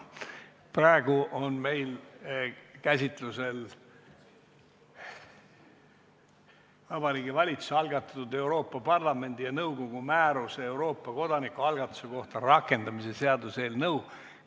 Praegu on meil käsitlemisel Vabariigi Valitsuse algatatud Euroopa Parlamendi ja nõukogu määruse "Euroopa kodanikualgatuse kohta" rakendamise seaduse eelnõu.